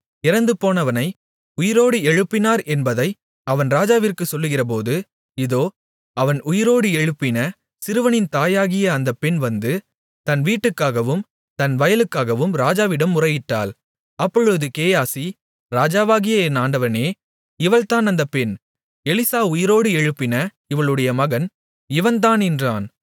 இறந்துபோனவனை உயிரோடு எழுப்பினார் என்பதை அவன் ராஜாவிற்குச் சொல்லுகிறபோது இதோ அவன் உயிரோடு எழுப்பின சிறுவனின் தாயாகிய அந்தப் பெண் வந்து தன் வீட்டுக்காகவும் தன் வயலுக்காகவும் ராஜாவிடம் முறையிட்டாள் அப்பொழுது கேயாசி ராஜாவாகிய என் ஆண்டவனே இவள்தான் அந்த பெண் எலிசா உயிரோடு எழுப்பின இவளுடைய மகன் இவன்தான் என்றான்